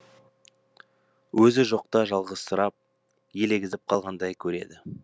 өзі жоқта жалғызсырап елегізіп қалғандай көреді